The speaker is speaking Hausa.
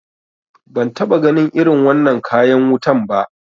Ban taɓa ganin irin wannan kayan wutan ba